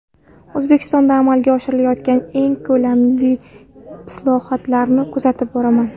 O‘zbekistonda amalga oshirilayotgan keng ko‘lamli islohotlarni kuzatib boraman.